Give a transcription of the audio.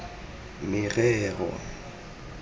merero